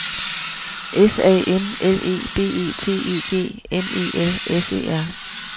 S A M L E B E T E G N E L S E R